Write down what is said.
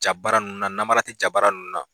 Ja baara ninnu namara tɛ ja barara ninnu na